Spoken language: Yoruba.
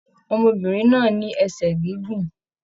Ọmọbìnrin náà ní ẹsẹ gígùn.